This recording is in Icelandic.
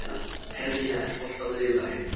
Hermína, er bolti á miðvikudaginn?